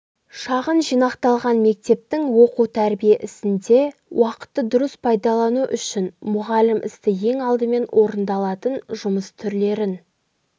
шағын жинақталған мектептің оқу-тәрбие ісінде уақытты дұрыс пайдалану үшін мұғалім істі ең алдымен орындалатын жұмыс түрлерін